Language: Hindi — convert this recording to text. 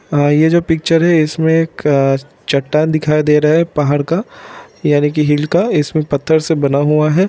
ये जो पिक्चर है इसमें एक चट्टान दिखाई दे रहा है पद्धड़ का याने की हिल का इसमें पत्थर से बना हुआ है।